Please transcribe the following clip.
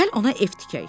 Gəl ona ev tikək.